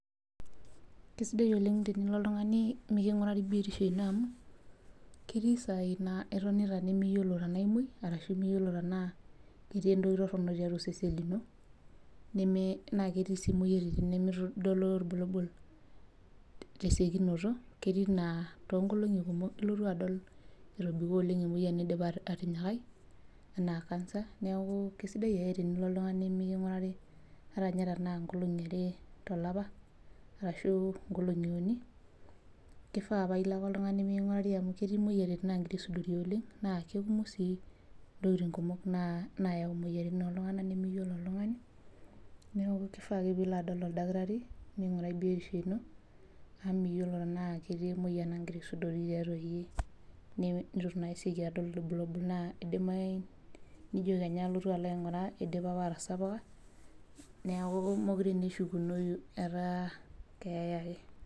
Kisidai oleng oleng tenilo oltung'ani mikingurari biotisho eno amu ketii sai nimiyiolo oltung'ani tenaa kemuoi tenaa era sidai miyiolo Ajo kainyio entoroni tiatua osesen lino naa ketii sii moyiaritin nimitodolu irbukabul tesiokinoto ketii naa too nkolong'i kumok elotu adol etobiko oleng emoyian nidipa atanyikai enaa cancer neeku kisidai ake tenilo oltung'ani mikingurari ata ninye tenaa nkolong'i are tolapa ashu nkolong'i uni kifaa paa elo ake oltung'ani mikingurari amu ketii moyiaritin nagira aisudori naa Kumon sii ntokitin nagira ayawu moyiaritin oltung'ana nimiyiolo oltung'ani neeku kifaa ake nilo aing'uraa oldakitari ]mingurai afya eno amu miyiolo Tena ketii emoyian nagira aisudori tiatua iyie neitu naa esioki adol irbulabul naa edimayu nijo Kenya alotu alo aing'uraa edipa apa atasapuka neeku mekure ashukunoi etaa keeya ake,